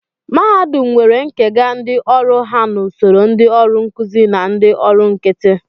Mahadum nwere nkega ndị ọrụ ha n'usoro ndị ọrụ nkụzi na ndị ọrụ nkịtị